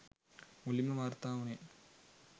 මුලින්ම වාර්තා වුනේ